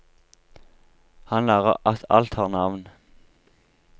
Han lærer at alt har navn.